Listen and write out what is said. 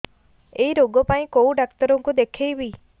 ଏଇ ରୋଗ ପାଇଁ କଉ ଡ଼ାକ୍ତର ଙ୍କୁ ଦେଖେଇବି